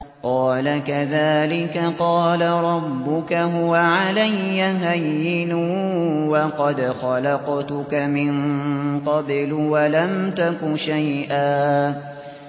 قَالَ كَذَٰلِكَ قَالَ رَبُّكَ هُوَ عَلَيَّ هَيِّنٌ وَقَدْ خَلَقْتُكَ مِن قَبْلُ وَلَمْ تَكُ شَيْئًا